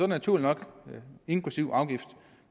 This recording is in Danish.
naturligt nok inklusive afgift